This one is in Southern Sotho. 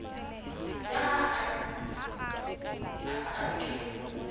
ka ha e ka ke